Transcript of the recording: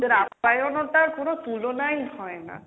ওদের আপ্যায়নতার কোনো তুলনাই হয় না।